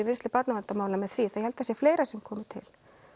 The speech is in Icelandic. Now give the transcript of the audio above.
vinnslu barnaverndarmála með því ég held það sé fleira sem komi til